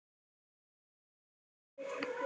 Hún er